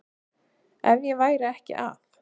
Ef ég væri ekki að